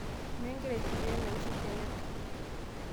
nyoo igira aifikiria naiusu kenyatta